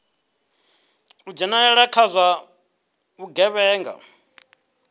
u dzhenelela kha zwa vhugevhenga